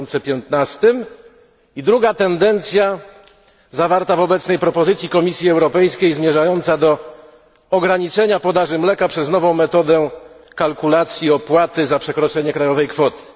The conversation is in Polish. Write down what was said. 2015. I druga tendencja zawarta w obecnej propozycji Komisji Europejskiej, zmierzająca do ograniczenia podaży mleka przez nową metodę kalkulacji opłaty za przekroczenie krajowej kwoty.